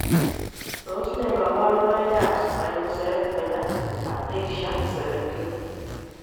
Tos nee koborunoikab Spinocerebellar ataxia 17?